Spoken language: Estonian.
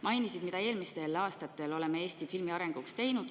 Sa mainisid seda, mida me eelmistel aastatel oleme Eesti filmi arenguks teinud.